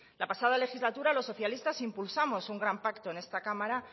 la pasada legislatura los socialistas impulsamos un gran pacto en esta cámara